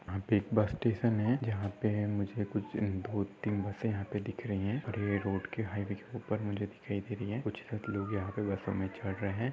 यहा पे एक बसस्टेशन है। जहा पे मुझे कुछ दो तीन बसे यहा पे दिख रही है। और ए रोड के हाइवे के उपर मुझे दिखाई दे रही है। कुछ लोग यहा पे बसो मे चड़ रहे --